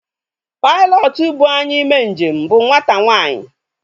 Pailọtụ buu anyị mee njem bụ nwata nwanyi